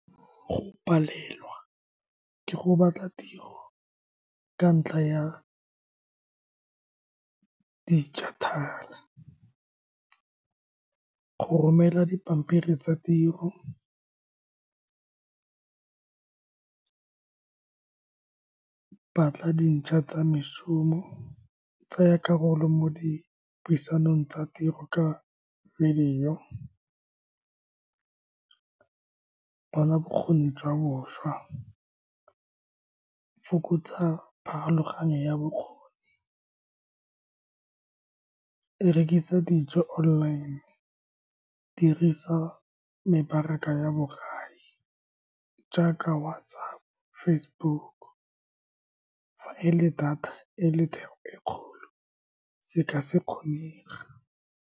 Go palelwa ke go batla tiro ka ntlha ya digital-e. Go romela dipampiri tsa tiro, batla tsa mešomo. Tsaya karolo mo dipuisanong tsa tiro ka video bona bokgoni jwa boswa. Fokotsa pharologayno ya bokgoni, rekisa dijo online. Dirisa mebaraka ya bo gae jaaka WhatsApp, Facebook. Fa e le data e le theko e kgolo, se ka se kgonega.